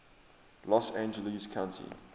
los angeles county